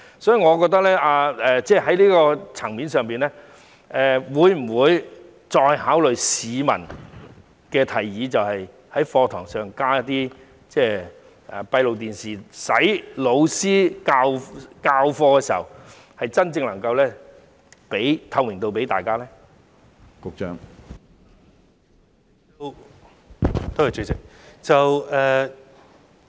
所以，在這個層面上，當局會否再考慮市民的提議，在課室內加裝閉路電視，令教師授課時，真正能夠為大家提供透明度呢？